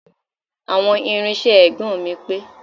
àwọn irinṣẹ́ agbọn mi ò pé